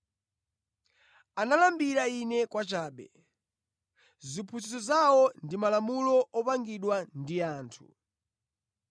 Amandilambira Ine kwachabe; ndi kuphunzitsa malamulo ndi malangizo a anthu.